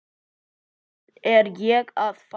Hvern er ég að fá?